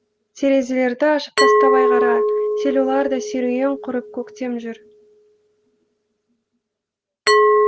терезелерді ашып тастап айқара селоларда серуен құрып көктем жүр